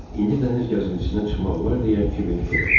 İndi dəniz gəzintisindən çıxmaq olar deyə kiver fikirləşdi.